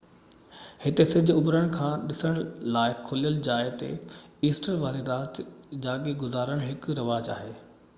هتي سج اڀرڻ کي ڏسڻ لاءِ کليل جاءِ تي ايسٽر واري رات جاڳي گذارڻ هڪ رواج آهي